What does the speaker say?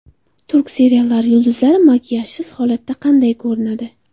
Turk seriallari yulduzlari makiyajsiz holatda qanday ko‘rinadi?